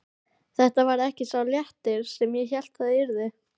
Þetta varð ekki sá léttir sem ég hélt það yrði.